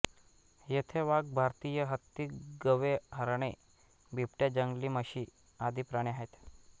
येथे वाघ भारतीय हत्ती गवे हरणे बिबटेजंगली म्हषी आदि प्राणी आहेत